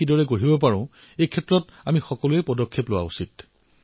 এই পৰিবেশ কিদৰে সৃষ্টি কৰিব পাৰি সেই দিশত আমি সকলোৱে লগ হৈ কাম কৰিব লাগে